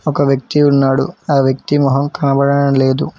ఒక వ్యక్తి ఉన్నాడు ఆ వ్యక్తి మొహం కనబడడం లేదు.